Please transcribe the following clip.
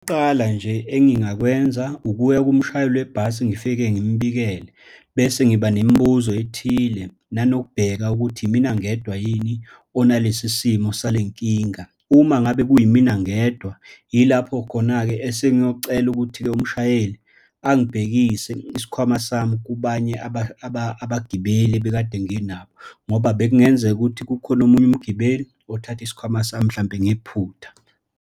Okokuqala nje engingakwenza ukuya kumshayeli webhasi ngifike ngimbikele, bese ngiba nemibuzo ethile, nanokubheka ukuthi yimina ngedwa yini onalesi simo salenkinga. Uma ngabe kuyimina ngedwa, yilapho khona-ke esengiyocela ukuthi-ke umshayeli angibhekise isikhwama sami kubanye abagibeli ebekade nginabo, ngoba bekungenzeka ukuthi kukhona omunye umgibeli othathe isikhwama sami, mhlampe ngephutha.